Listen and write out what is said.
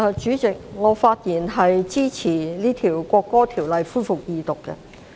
主席，我發言支持《國歌條例草案》恢復二讀。